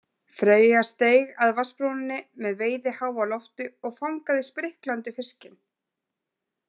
Freyja steig að vatnsbrúninni með veiðiháf á lofti og fangaði spriklandi fiskinn.